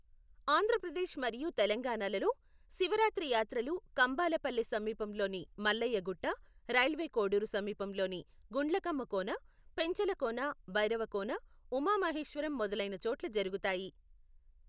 ఆంధ్రప్రదేశ్ మరియు తెలంగాణలలో, శివరాత్రి యాత్రలు కంభాలపల్లె సమీపంలోని మల్లయ్య గుట్ట, రైల్వే కోడూరు సమీపంలోని గుండ్లకమ్మ కోన, పెంచలకోన, భైరవకోన, ఉమా మహేశ్వరం మొదలైన చోట్ల జరుగుతాయి.